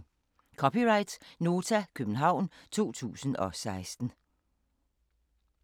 (c) Nota, København 2016